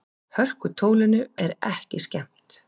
Hörkutólinu er ekki skemmt.